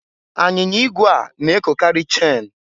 Anyinya igwe a na-ekokarị chen.